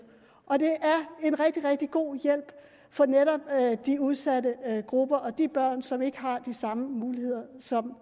og det er en rigtig rigtig god hjælp for netop de udsatte grupper og de børn som ikke har de samme muligheder